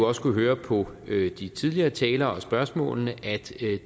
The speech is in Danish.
også kunnet høre på de tidligere talere og spørgsmålene at